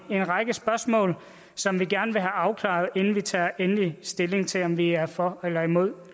en række spørgsmål som vi gerne vil have afklaret inden vi tager endelig stilling til om vi er for eller imod